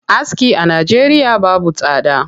Aski a Najeriya babu tsada.